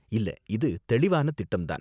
இல்ல, இது தெளிவான திட்டம் தான்.